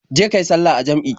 Je ka yi sallah a jam'i.